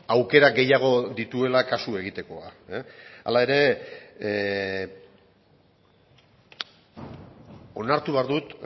aukera gehiago dituela kasu egitekoa hala ere onartu behar dut